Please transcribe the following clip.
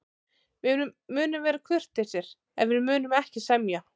Við munum vera kurteisir, en við munum ekki semja.